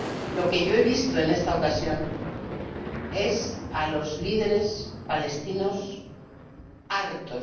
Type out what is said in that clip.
Lo que yo he visto en esta ocasión es a los líderes palestinos hartos